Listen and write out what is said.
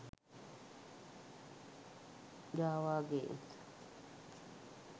java games